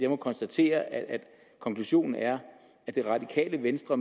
må konstatere at konklusionen er at det radikale venstre